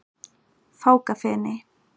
Fákafeni